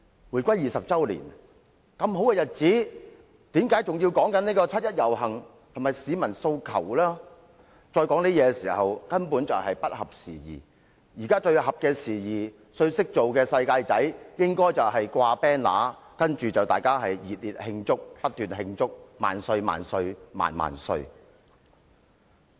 回歸20周年這麼好的日子，仍然談論七一遊行和市民訴求，根本是不合時宜，現時最懂得處事的"世界仔"應該掛橫額，不斷地熱烈慶祝，高呼"萬歲、萬歲、萬萬歲"。